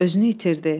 Özünü itirdi.